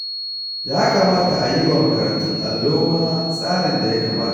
Ya kamata a yi wa makarantun allo ma tsarin da ya kamata